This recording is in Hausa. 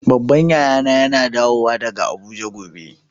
Babban yaya na yana dawo daga Abuja gobe.